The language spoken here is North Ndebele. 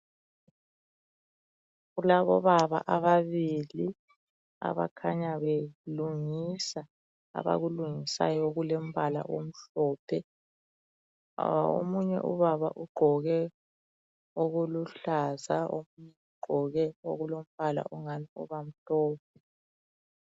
Kulabobaba ababili belungisa abakulunhisayo okulombala amhlophe Omunye ubaba ugqoke okuluhlaza omunye ugqoke okulombala okungani uba mhlophe.